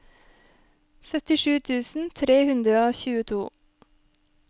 syttisju tusen tre hundre og tjueto